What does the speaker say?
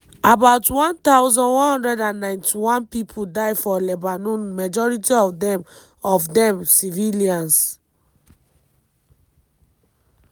about 1191 pipo die for lebanon majority of dem of dem civilians.